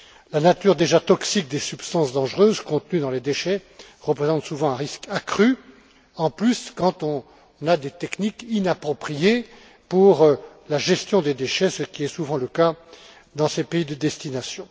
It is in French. La nature déjà toxique des substances dangereuses contenues dans les déchets représente souvent un risque accru, en plus, quand on dispose de techniques inappropriées pour la gestion des déchets, ce qui est souvent le cas dans ces pays de destination.